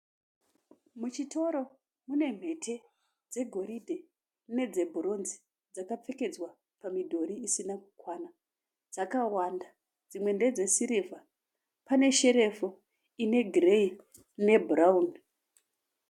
Muchitoro mune mhete dzegoridhe nedzebhuronzi dzakapfekedzwa pamidhori isina kukwana. Dzakawanda. Dzimwe ndedzesirivha. Pane sherefu ine gireyi nebhurawuni.